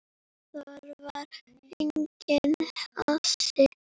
Þar var enginn asi.